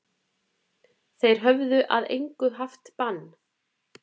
Þeir höfðu að engu haft bann